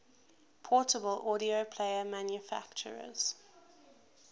portable audio player manufacturers